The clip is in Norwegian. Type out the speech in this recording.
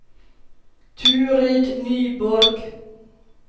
Turid Nyborg